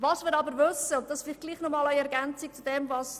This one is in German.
Was wir aber wissen ist Folgendes: